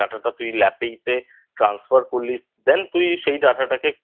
Data টা তুই Lap ই তে Transfer করলি Then তুই সেই Data টাকে